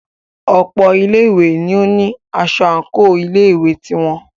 Ọ̀pọ̀ ilé ìwé ní o ní aṣọ àńkò ilé ìwé ti wọn.